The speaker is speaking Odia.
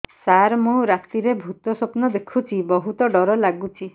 ସାର ମୁ ରାତିରେ ଭୁତ ସ୍ୱପ୍ନ ଦେଖୁଚି ବହୁତ ଡର ଲାଗୁଚି